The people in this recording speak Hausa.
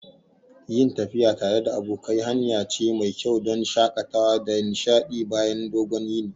Yin tafiya tare da abokai hanya ce mai kyau don shakatawa da nishadi bayan dogon yini.